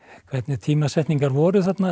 hvernig tímasetningar voru þarna